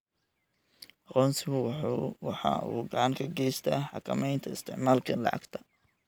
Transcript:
Aqoonsigu waxa uu gacan ka geystaa xakamaynta isticmaalka lacagta.